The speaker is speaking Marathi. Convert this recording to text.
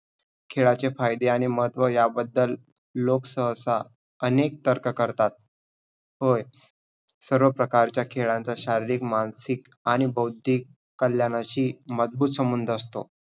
खेळाचे फायदे आणि महत्व ह्याबद्दल लोक सहसा अनेक तर्क करतात. होय! सर्व प्रकारचा खेळांचा शारीरिक, मानसिक आणि बौद्धिक कल्याणाशी मजबूत संबंध असतो.